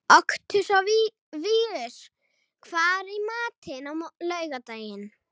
Oktavíus, hvað er í matinn á laugardaginn?